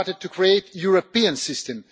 We have started to create a European system.